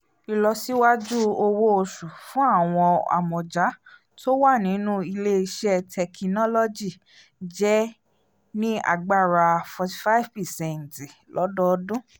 ìlọsíwájú owó oṣù fún àwọn amọ̀ja tó wà nínú ilé-iṣẹ́ tekinólọ́jì jẹ́ ní agbára forty five percent lọ́dọọdún